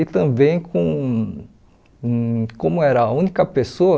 E também com com como era a única pessoa